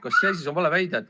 Kas see on siis vale väide?